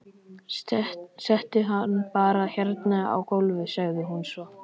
Settu hann bara hérna á gólfið, sagði hún svo.